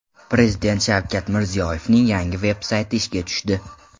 Prezident Shavkat Mirziyoyevning yangi veb-sayti ishga tushdi.